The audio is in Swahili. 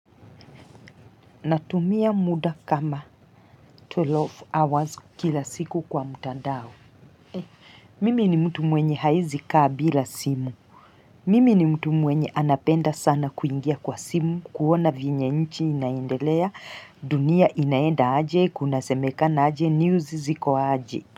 Natumia muda kama 12 hours kila siku kwa mtandao. Mimi ni mtu mwenye hawezi kaa bila simu. Mimi ni mtu mwenye anapenda sana kuingia kwa simu, kuona vyenye nchi inaendelea, dunia inaenda aje, kunasemekana aje, news ziko aje.